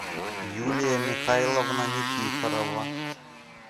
юлия михайловна никифорова